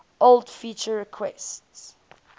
old feature requests